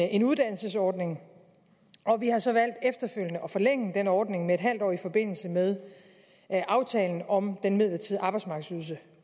en uddannelsesordning og vi har så valgt efterfølgende at forlænge den ordning med en halv år i forbindelse med aftalen om den midlertidige arbejdsmarkedsydelse